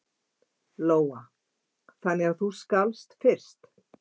Lóa: Þannig að þú skalfst fyrst?